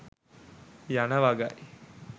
යන වගයි.